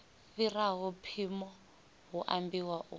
fhiraho mpimo hu ambiwa u